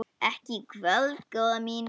Ekki í kvöld, góða mín.